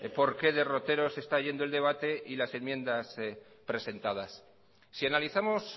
por qué derroteros está yendo el debate y las enmiendas presentadas si analizamos